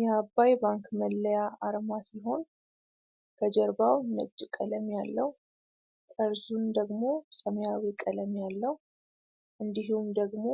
የአባይ ባንክ መለያ አርማ ሲሆን ከጀርባው ነጭ ቀለም ያለው ጠርዙን ደግሞ ሰማያዊ ቀለም ያለው እንዲሁም ደግሞ